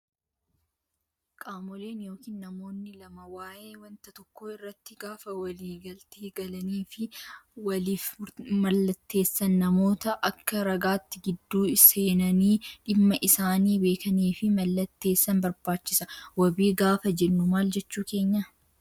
Qaamoleen yookiin namoonni lama waayee wanta tokkoo irratti gaafa walii galtee galanii fi waliif mallatteessan namoota Akka ragaatti gidduu seenanii dhimma isaanii beekanii fi mallatteessan barbaachisa. Wabii gaafa jennu maal jechuu keenyaa?